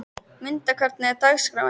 Munda, hvernig er dagskráin?